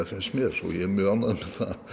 finnst mér og ég er mjög ánægður